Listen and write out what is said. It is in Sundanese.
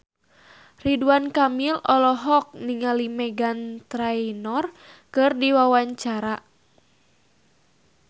Ridwan Kamil olohok ningali Meghan Trainor keur diwawancara